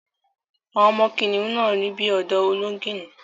Àwọn ọmọ kìnnìún náà rí bí ọ̀dọ́ Olóngìní